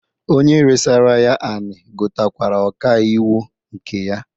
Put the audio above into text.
Onye resara ya anị gotakwara ọka iwu nke ya.